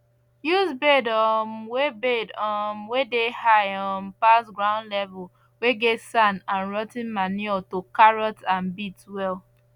use bed um whey bed um whey dey high um pass ground level whey get sand and rot ten manure to carrots and beets well